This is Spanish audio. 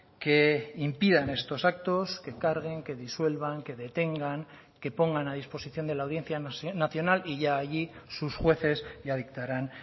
que impidan estos actos que carguen que disuelvan que detengan que pongan a disposición de la audiencia nacional y ya allí sus jueces ya dictarán